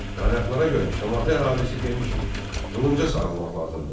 Qaynaqlara görə Şamaxı əhalisi demişdi: Qılınca sarılmaq lazımdır.